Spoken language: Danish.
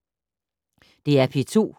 DR P2